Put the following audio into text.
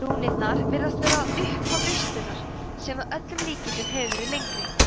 rúnirnar virðast vera upphaf ristunnar sem að öllum líkindum hefur verið lengri